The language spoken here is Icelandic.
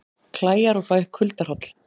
Klæjar og fæ kuldahroll